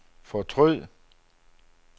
fortryd